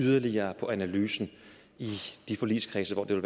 yderligere på analysen i de forligskredse hvor det